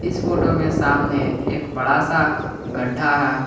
इस फोटो में सामने एक बड़ा सा गड्ढा है।